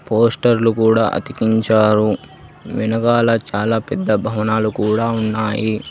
పోస్టర్లు కూడా అతికించారు వెనుకాల చాలా పెద్ద భవనాలు కూడా ఉన్నాయి.